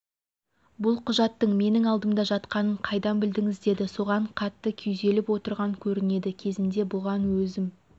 бұл құжаттың менің алдымда жатқанын қайдан білдіңіз деді соған қатты күйзеліп отырған көрінеді кезінде бұған өзім